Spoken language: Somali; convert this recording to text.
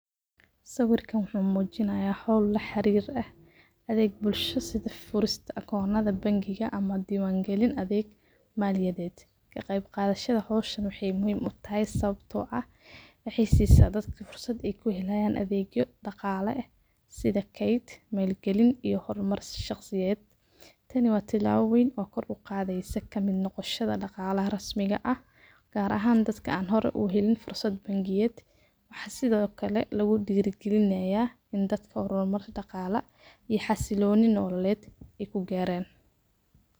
Sawirkan wuxu mujinayan howl laxirira adega bulsho sida furista akonada bangiga ama diwan galin adhee maliyaded kaqey qadashada howshan wexey muhiim utahay sawabto ah wexey sisa dadka fursad daqalo eh sida kayd malgalin iyo hormarsi shaqsiyed tani wa tilabo ween oo koor uqadeysa kaqeyb qadashada daqalaha rasmiga ah gar again ddka an hore uhelin fursad bangiyed waxa sido kale lugudira galinaya in dadka hormar daqala iyo xasiloni nolaled ey kugaran.